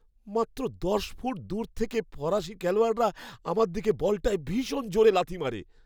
মাত্র দশ ফুট দূর থেকে ফরাসি খেলোয়াড়রা আমার দিকে বলটায় ভীষণ জোরে লাথি মারে।